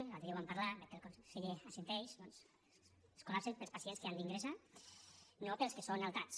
l’altre dia ho vam parlar veig que el conseller assenteix doncs es col·lapsen pels pacients que han d’ingressar no pels que són altats